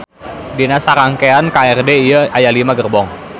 Dina sarangkean KRD ieu aya lima gerbong